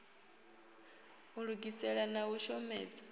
u lugisela na u shomedza